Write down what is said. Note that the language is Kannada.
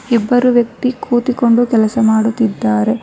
ಒಬ್ಬ ವ್ಯಕ್ತಿ ಕುಳಿತುಕೊಂಡು ಕೆಲಸ ಮಾಡುತ್ತಿದ್ದಾರೆ.